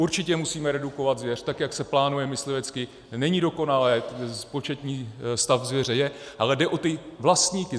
Určitě musíme redukovat zvěř, tak jak se plánuje, myslivectví není dokonalé, početní stav zvěře je, ale jde o ty vlastníky.